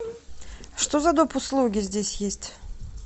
что за доп услуги здесь есть